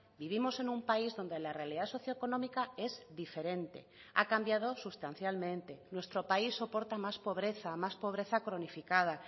vivimos en un país donde la realidad socioeconómica es diferente ha cambiado sustancialmente nuestro país soporta más pobreza más pobreza cronificada